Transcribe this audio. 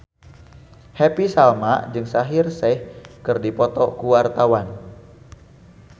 Happy Salma jeung Shaheer Sheikh keur dipoto ku wartawan